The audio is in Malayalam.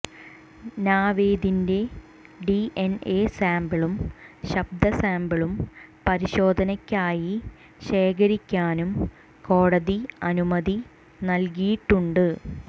നാവേദിന്റെ ഡിഎന്എ സാമ്പിളും ശബ്ദ സാമ്പിളും പരിശോധനയ്ക്കായി ശേഖരിയ്ക്കാനും കോടതി അനുമതി നല്കിയിട്ടുണ്ട്